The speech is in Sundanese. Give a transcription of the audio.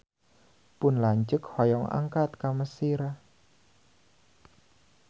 Pun lanceuk hoyong angkat ka Mesir